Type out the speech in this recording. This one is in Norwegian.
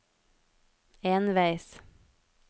enveis